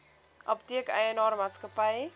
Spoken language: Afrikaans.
apteek eienaar maatskappy